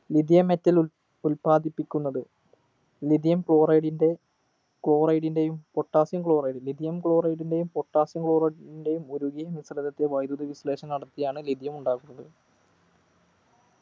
lithium metal ഉൽ ഉൽപാദിപ്പിക്കുന്നത് lithium chloride ൻ്റെ chloride ൻ്റെയും potassium chloridelithium chloride ൻ്റെയും potassium chloride ൻ്റെയും ഉരുകിയും മിശ്രിതത്തെ വൈദ്യുതി വിശ്ലേഷണം നടത്തിയാണ് lithium ഉണ്ടാക്കുന്നത്‌